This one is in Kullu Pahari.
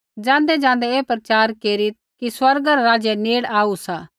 ज़ाँदैज़ाँदै ऐ प्रचार केरीत् कि स्वर्गा रा राज्य नेड़ आऊ सा